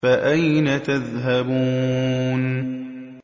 فَأَيْنَ تَذْهَبُونَ